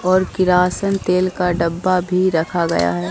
और किरासन तेल का डब्बा भी रखा गया है।